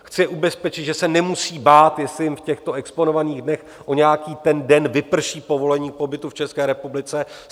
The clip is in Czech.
Chci ubezpečit, že se nemusí bát, jestli jim v těchto exponovaných dnech o nějaký ten den vyprší povolení k pobytu v České republice.